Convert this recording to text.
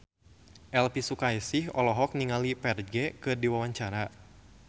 Elvi Sukaesih olohok ningali Ferdge keur diwawancara